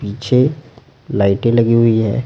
पीछे लाइटें लगी हुई है।